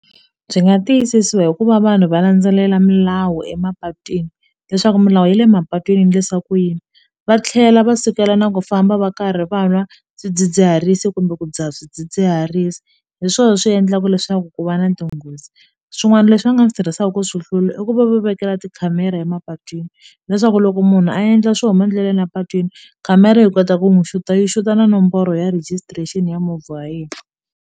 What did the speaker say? Byi nga tiyisisiwa hikuva vanhu va landzelela milawu emapatwini leswaku milawu ya le mapatwini endlisiwa ku yini va tlhela va sukela na ku famba va karhi va nwa swidzidziharisi kumbe ku dzaha swidzidziharisi hi swona swi endlaka leswaku ku va na tinghozi swin'wana leswi va nga swi tirhisaka ku swi hlula i ku va vekela tikhamera emapatwini leswaku loko munhu a endla swo huma endleleni mapatwini khamera yi kota ku n'wi xuta yi xuta na nomboro ya rejistrexini ya movha wa yena.